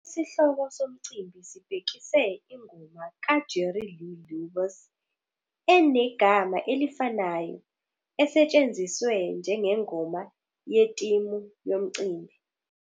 Isihloko somcimbi sibhekise ingoma kaJerry Lee Lewis enegama elifanayo, esetshenziswe njengengoma yetimu yomcimbi.